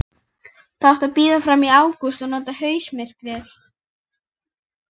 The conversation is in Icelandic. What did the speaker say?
Það átti að bíða fram í ágúst og nota haustmyrkrið.